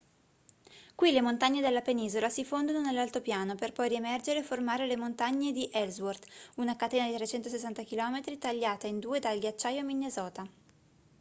qui le montagne della penisola si fondono nell'altopiano per poi riemergere e formare le montagne di ellsworth una catena di 360 km tagliata in due dal ghiacciaio minnesota